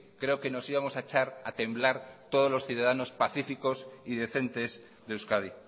creo que nos íbamos a echar a temblar todos los ciudadanos pacíficos y decentes de euskadi